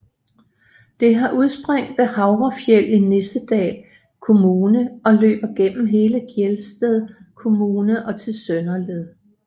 Det har udspring ved Havrefjell i Nissedal kommune og løber gennem hele Gjerstad kommune og til Søndeled